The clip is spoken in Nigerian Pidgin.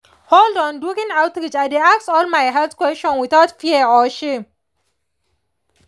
hold on — during outreach i dey ask all my health questions without fear or shame.